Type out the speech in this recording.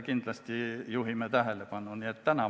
Kindlasti juhime siis tähelepanu ka taolistele asjadele.